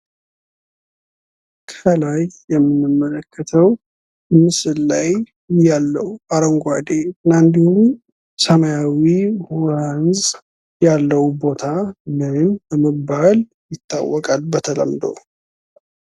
ከላይ የምንመለከተው ምስል ላይ ያለው አረንጓዴ እና እንዲሁም ሰማያዊ ወንዝ ያለው ቦታ ምን በመባል ይታወቃል በተለምዶ?